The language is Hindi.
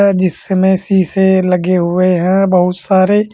जिसमें शीशे लगे हुए हैं बहुत सारे--